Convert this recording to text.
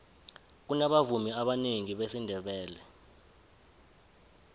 kunabavumi abanengi besindebele